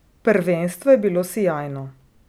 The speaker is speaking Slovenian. Prvenstvo je bilo sijajno.